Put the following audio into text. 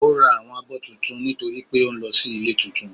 ò rá áwọn abó túntún nitori pe ò n lọ si ilé túntún.